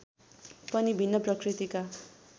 पनि भिन्न प्रकृतिका